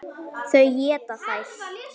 Þau éta þær.